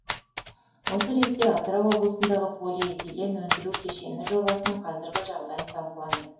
осы ретте атырау облысындағы полиэтилен өндіру кешені жобасының қазіргі жағдайы талқыланды